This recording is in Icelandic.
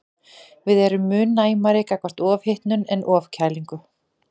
Við erum mun næmari gagnvart ofhitnun en ofkælingu.